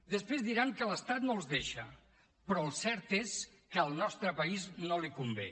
després diran que l’estat no els deixa però el cert és que al nostre país no li convé